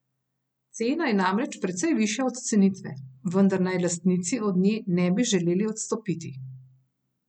Cena je namreč precej višja od cenitve, vendar naj lastnici od nje ne bi želeli odstopiti.